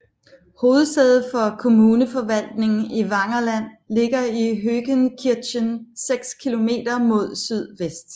Hovedsædet for kommuneforvaltningen i Wangerland ligger i Hohenkirchen seks kilometer mod sydvest